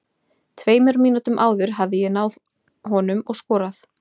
Tveimur mínútum áður hefði ég náð honum og skorað.